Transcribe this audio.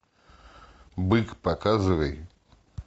бык показывай